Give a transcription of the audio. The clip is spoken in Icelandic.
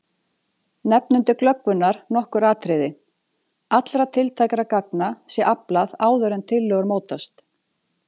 Nefnum til glöggvunar nokkur atriði: Allra tiltækra gagna sé aflað áður en tillögur mótast.